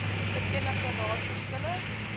verenigde raad verskille